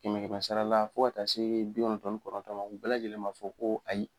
Kɛmɛ kɛmɛ sarala fo ka se bi kɔnɔtɔn ni kɔnɔntɔn ma u bɛɛ lajɛlen b'a fɔ ko